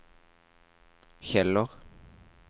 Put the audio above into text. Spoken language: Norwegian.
Kjeller